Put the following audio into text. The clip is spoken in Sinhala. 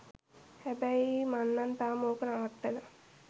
හැබැයි මං නං තාම ඕක නවත්තලා